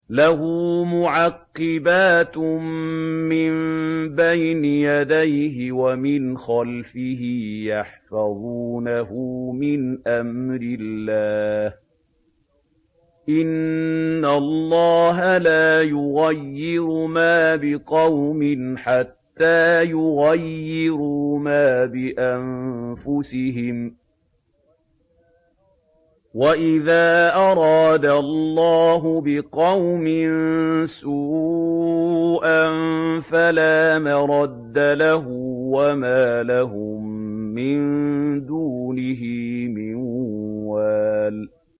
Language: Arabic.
لَهُ مُعَقِّبَاتٌ مِّن بَيْنِ يَدَيْهِ وَمِنْ خَلْفِهِ يَحْفَظُونَهُ مِنْ أَمْرِ اللَّهِ ۗ إِنَّ اللَّهَ لَا يُغَيِّرُ مَا بِقَوْمٍ حَتَّىٰ يُغَيِّرُوا مَا بِأَنفُسِهِمْ ۗ وَإِذَا أَرَادَ اللَّهُ بِقَوْمٍ سُوءًا فَلَا مَرَدَّ لَهُ ۚ وَمَا لَهُم مِّن دُونِهِ مِن وَالٍ